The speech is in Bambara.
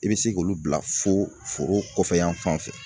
I bɛ se k'olu bila fo foro kɔfɛ yan fan fɛ